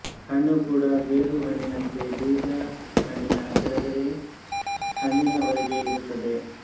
ಹಣ್ಣು ಕೂಡಾ ಗೇರುಹಣ್ಣಿನಂತೆ ಬೀಜ ಹಣ್ಣಿನ ಕೆಳಗಡೆ ಹಣ್ಣಿನ ಹೊರಗೆ ಇರುತ್ತದೆ